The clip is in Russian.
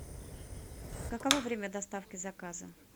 каково время доставки заказа